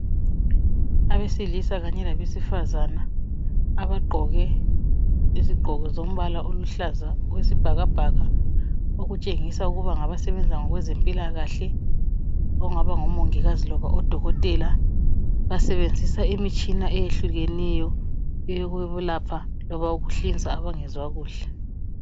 Abesiliisa kanye labe sifazane abagqoko eziluhlaza okwesibhakabhaka okutshengisa ukuthi bengaba ngabezempilakahle okungaba ngomongikazi labo dokotela basebenzisa imitshina eyehlukeneyo eyokulapha loba ukuhlinza abangezwa kuhle